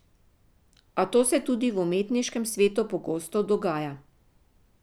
A to se tudi v umetniškem svetu pogosto dogaja.